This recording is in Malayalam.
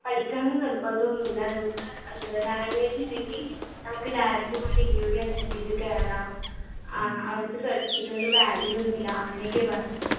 പഠിക്കണം ന്ന് നിർബന്ധോന്നുല്ല നമ്മക്ക് എന്താ language ണ്ടെങ്കി നമ്മക്ക് direct പോയിട്ട് interview attend ചെയ്ത് കേറാ ആഹ് അവിടെത്തെ certificate കൊണ്ട് value ഒന്നുല്ല അങ്ങനെയൊക്കെയാ പറഞ്ഞത്